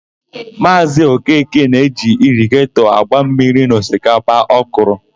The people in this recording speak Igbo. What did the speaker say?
Maazị Okeke na-eji irigetọ agba mmiri n'osikapa ọ kọrọ.